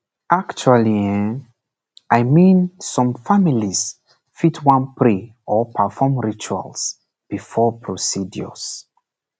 actually um i mean some families fit wan pray or perform rituals before procedures